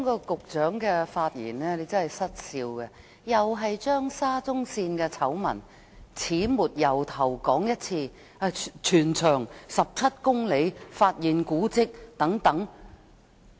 局長的發言真的教人失笑，他再次把沙田至中環線醜聞的始末從頭再說一次，例如全長17公里及發現古蹟等。